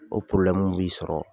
O b'i sɔrɔ.